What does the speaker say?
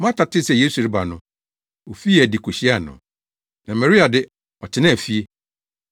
Marta tee sɛ Yesu reba no, ofii adi kohyiaa no, na Maria de, ɔtenaa fie.